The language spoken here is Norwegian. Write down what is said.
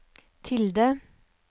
tilde